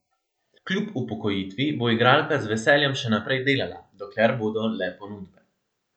Kljub upokojitvi bo igralka z veseljem še naprej delala, dokler bodo le ponudbe.